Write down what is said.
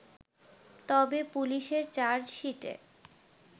তবে পুলিশের চার্জশিটে